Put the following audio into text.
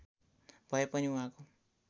भए पनि उहाँको